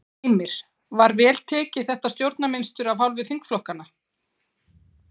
Heimir: Var vel tekið í þetta stjórnarmynstur af hálfu þingflokksins?